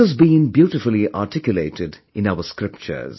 This has been beautifully articulated in our scriptures